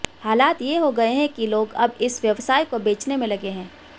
हालात ये हो गए हैं कि लोग अब इस व्यवसाय को बेचने में लगे हैं